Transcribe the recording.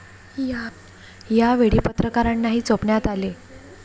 या वेळी पत्रकारांनाही चोपण्यात आले.